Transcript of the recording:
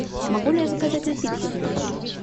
могу ли я заказать напитки в номер